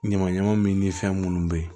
Ɲama ɲama min ni fɛn minnu bɛ yen